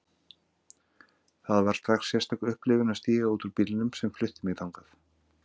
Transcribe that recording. Það var strax sérstök upplifun að stíga út úr bílnum sem flutti mig þangað.